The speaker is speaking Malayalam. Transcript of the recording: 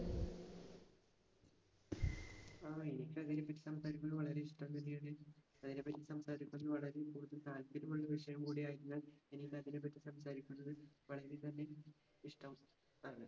ആഹ് എനിക്ക് അതിനെപറ്റി സംസാരിക്കുന്നത് വളരെ ഇഷ്ടം തന്നെയാണ്. അതിനെപ്പറ്റി സംസാരിക്കുന്ന താല്പര്യമുള്ള വിഷയം കൂടെയായതിനാൽ എനിക്ക് അതിനെപ്പറ്റി സംസാരിക്കുന്നത് വളരെത്തന്നെ ഇഷ്ടം ആണ്.